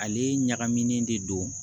Ale ɲagaminen de don